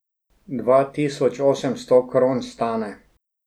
Dva tisoč osemsto kron stane.